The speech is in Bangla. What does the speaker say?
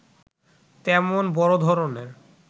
তেমন বড় ধরণের